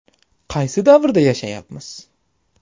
Qaysi davrda yashayapmiz?